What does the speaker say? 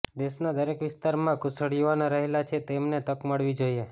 દેશના દરેક વિસ્તારમાં કુશળ યુવાનો રહેલા છે તેમને તક મળવી જોઇએ